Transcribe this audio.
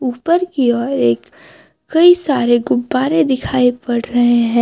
ऊपर की ओर एक कई सारे गुब्बारे दिखाई पढ़ रहे हैं।